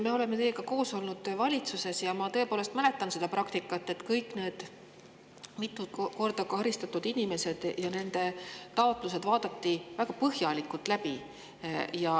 Me oleme teiega koos olnud valitsuses ja ma tõepoolest mäletan seda praktikat, et kõigi nende mitu korda karistatud inimeste taotlused vaadati väga põhjalikult läbi.